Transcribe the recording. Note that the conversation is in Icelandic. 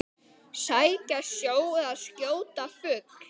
Sækja sjó eða skjóta fugl.